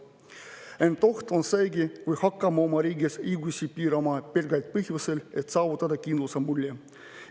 Ent oht on seegi, kui hakkame oma riigis õigusi piirama pelgalt põhjusel, et saavutada kindluse mulje.